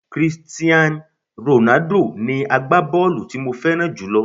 Christian Ronaldo ni agbábọ́ọ̀lù tí mo fẹ́ràn jùlọ